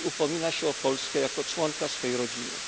Dziś upomina się o Polskę jako członka swojej rodziny.